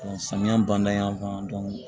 Samiya ban